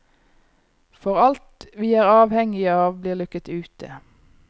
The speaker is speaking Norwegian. For alt vi er avhengige av blir lukket ute.